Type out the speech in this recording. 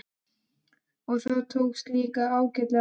Og það tókst líka ágæta vel.